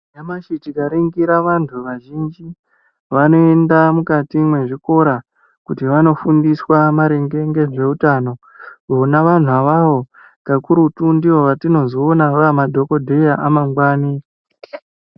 Nyamashi tikaringira vantu vazhinji vanoenda mukati mwezvikora kuti vanofundiswa maringe ngezveutano vona vantu awawo kakurutu ndivo vatinozoona amadhokodheya amangwani.